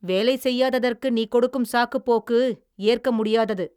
வேலை செய்யாததற்கு நீ கொடுக்கும் சாக்குப்போக்கு ஏற்க முடியாதது.